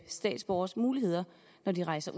statsborgeres muligheder når de rejser